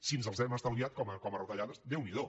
si ens els hem estalviat com a retallades déu n’hi do